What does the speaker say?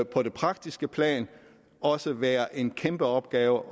på det praktiske plan også være en kæmpe opgave